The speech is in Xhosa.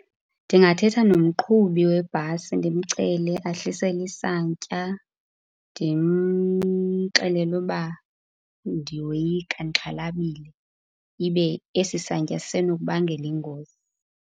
Ndingathetha nomqhubi webhasi ndimcele ahlise isantya. Ndimxelele uba ndiyoyika, ndixhalabile, ibe esi santya sisenokubangela ingozi.